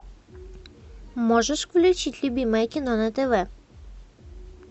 можешь включить любимое кино на тв